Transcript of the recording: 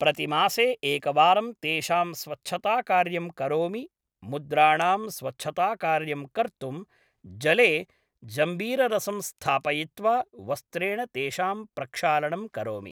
प्रतिमासे एकवारं तेषां स्वच्छताकार्यं करोमि मुद्राणां स्वच्छताकार्यं कर्तुं जले जंबीररसं स्थापयित्वा वस्त्रेण तेषां प्रक्षालनं करोमि